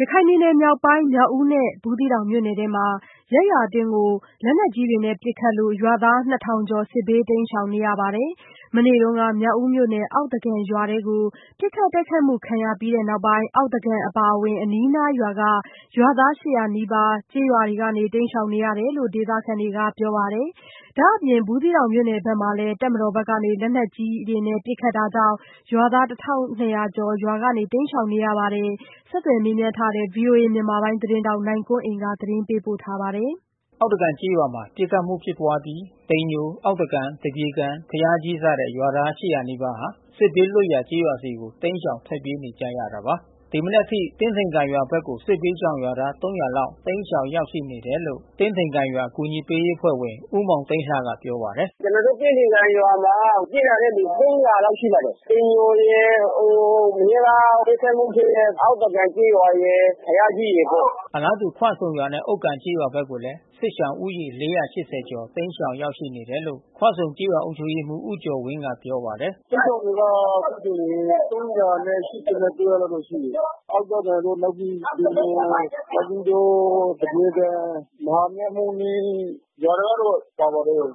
ရခိုင်ပြည်နယ် မြောက်ပိုင်းဒေသ မြောက်ဦးနဲ့ ဘူးသီးတောင်မြို့နယ်အတွင်းမှာ ရပ်ရွာအတွင်းပစ်ခတ်မှုနဲ့ လက်နက်ကြီးတွေ ပစ်ခတ်မှုကြောင့် ရွာသား ၂၀၀၀ ကျာ် စစ်ဘေးတိမ်းရှောင်နေရပါတယ်။ မနေ့က မြောက်ဦးမြို့နယ် အောက်သကန်ရွာအတွင်း ပစ်ခတ်တိုက်ခိုက်မှုခံရအပြီး အောက်သကန် အပါအဝင် အနီးနားရွာက ရွာသား ၈၀၀ နီးပါး ရပ်ရွာ ကနေ တိမ်းရှောင်နေရတယ်လို့ ဒေသခံတွေက ပြောပါတယ်။ ဒါ့အပြင် ဘူးသီးတောင်မြို့နယ်ဘက်မှာလည်း တပ်မတော်ဘက်က လက်နက်ကြီးတွေနဲ့ ပစ်ခတ်မှုကြောင့် ရွာသား ၁၂၀၀ ကျော် ရွာကနေ တိမ်းရှောင်နေရပါတယ်။ ဆက်သွယ်မေးမြန်းထားတဲ့ ဗွီအိုအေမြန်မာပိုင်း သတင်းထောက် နိုင်ကွန်းအိန်ကနေ သတင်းပေးပို့ထားပါတယ်။ ရခိုင်ပြည်နယ် မြောက်ဦးမြို့နယ် အောက်သကန်ကျေးရွာမှာ ပစ်ခတ်မှုဖြစ်ပွါးအပြီး တိမ်ညို အောက်သကန်၊ သပြေကန်၊ ဘုရားကြီး စတဲ့ ရွာသား ၈၀၀ နီးပါးဟာ စစ်ဘေးလွတ်ရာကျေးရွာဆီကို တိမ်းရှောင်ထွက်ပြေးနေကြတာပါ။ ဒီမနက်အထိ တင်းထိန်ကန်ရွာဘက်ကို စစ်ဘေးရှောင်ရွာသား ၃၀၀ လောက် တိမ်းရှောင်ရောက်ရှိနေတယ်လို့ တင်းထိန်ကန်ရွာ အကူညီပေးအဖွဲ့ဝင် ဦးမောင်သိန်းလှကပြောပါတယ်။ “ကျွန်တော်တို့ တင်းထိန်ကန်ကျေးရွာမှာ ပြေးလာတဲ့သူ ၃၀၀ လောက်ရှိပါတယ်။ တိမ်ညိုရယ် မနေ့က ပစ်ခတ်မှု ဖြစ်တဲ့ အောက်သကန်ကျေးရွာရယ်၊ ဘုရားကြီးရယ်ပေါ့။” အလားတူ ခွဆုံရွာနဲ့ ဥက္ကံကျေးရွာဘက်ကိုလည်း စစ်ရှောင်ဦးရေ ၄၈၀ ကျော် တိမ်းရှောင်ရောက်ရှိနေတယ်လို့ ခွဆုံကျေးရွာ အုပ်ချုပ်ရေးမှူး ဦးကျော်ဝင်းက ပြောပါတယ်။ “စစ်ရှောင်တွေက ခွဆုံကို ၃၈၉ ယောက်လောက် ရှိတယ်။ အောက်သကန်တို့ နောက် တိမ်ညို နောက်ပြီးတော့ သပြေကန်၊ မဟာမြတ်မုနိရွာတွေကတော့ ပါပါတယ်။